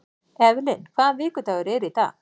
Evelyn, hvaða vikudagur er í dag?